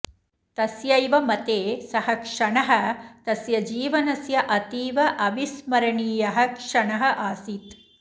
तस्यैव मते सः क्षणः तस्य जीवनस्य अतीव अविस्मरणीयः क्षणः आसीत्